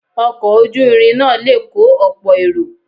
Ọkọ̀ ojú irin náà le kọ́ ọ̀pọ̀ èrò.